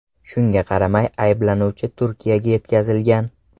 Shunga qaramay ayblanuvchi Turkiyaga yetkazilgan.